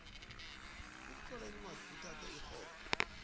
kutlola incwadi kuthatha ikgono